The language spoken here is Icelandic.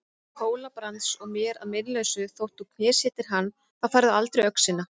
Hóla-Brands og mér að meinalausu þótt þú knésetjir hann, þá færðu aldrei öxina.